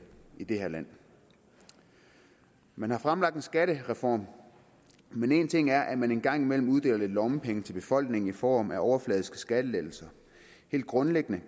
i det her land man har fremlagt en skattereform men en ting er at man en gang imellem uddeler lidt lommepenge til befolkningen i form af overfladiske skattelettelser helt grundlæggende